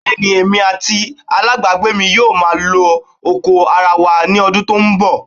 Bẹ́ẹ̀ ni, èmi àti alábàágbé mi yóò máa lo oko ara wa ní ọdún tí ó ń bọ̀.